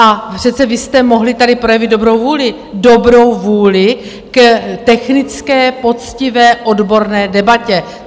Ale přece vy jste mohli tady projevit dobrou vůli, dobrou vůli k technické, poctivé, odborné, debatě.